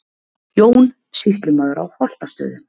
Jón, sýslumaður á Holtastöðum.